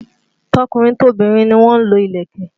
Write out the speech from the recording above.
Tọkùnrin tobìnrin ni wọ́n lo ìlẹ̀kẹ̀